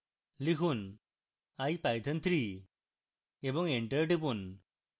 লিখুন ipython3 এবং enter টিপুন